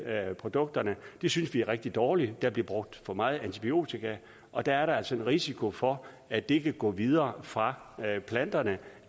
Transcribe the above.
af produkterne det synes vi er rigtig dårligt der bliver brugt for meget antibiotika og der er altså en risiko for at det kan gå videre fra planterne